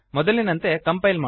ನಾವು ಒಂದು ಎರರ್ ಅನ್ನು ನೋಡಬಹುದು